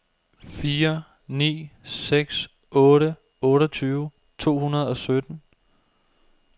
fire ni seks otte otteogtyve to hundrede og sytten